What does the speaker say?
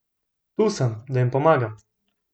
Tu sem, da jim pomagam.